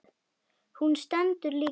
Hún stendur líka upp.